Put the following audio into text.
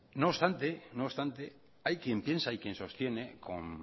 no obstante hay quien piensa y quien sostiene con